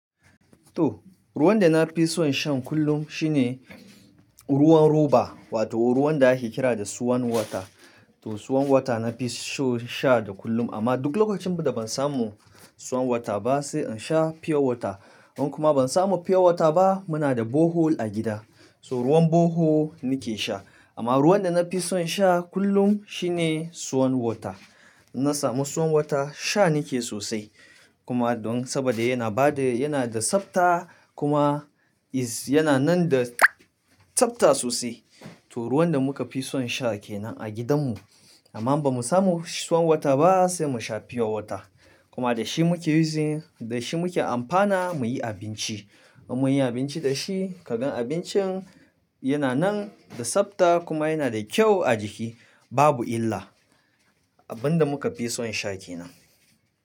To, ruwan da na fi son shan kullum shine ruwan roba wato ruwan da ake kira da swan water. To swan water nafi son sha da kullum amma duk lokacin da ban samu swan water ba sai in sha pure water. In kuma ban samu pure water ba muna da borehole a gida, so ruwan borehole nike sha. Amma ruwan da nafi son sha kullum shine swan water. In na samu swan water sha nike sosai. Kuma don saboda yana bada, yana da tsabta kuma is yana nan da tsabta sosai. To ruwan da muka fi son sha kenan a gidan mu. Amma in bamu samu swan water ba sai mu sha pure water. Kuma da shi muke using, da shi muke amfana muyi abinci. In muyi abinci da shi ka gan abincin yana nan da tsabta kuma yana da kyau a jiki babu illa. Abin da muka fi son sha kenan.